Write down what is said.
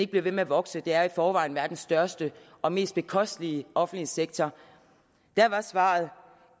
bliver ved med at vokse det er i forvejen verdens største og mest bekostelige offentlige sektor da var svaret